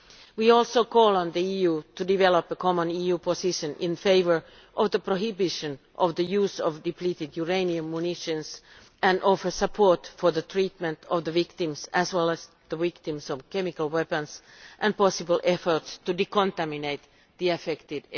We also call on the EU to develop a common EU position in favour of the prohibition of the use of depleted uranium munitions and offer support for the treatment of their victims as well as for the victims of chemical weapons and possible efforts to decontaminate the areas affected.